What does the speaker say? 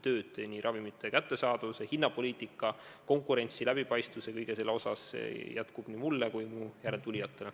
Tööd ravimite kättesaadavuse, hinnapoliitika, konkurentsi, läbipaistvuse ja kõige muu sellega seonduva osas jätkub kindlasti nii mulle kui ka mu järeltulijatele.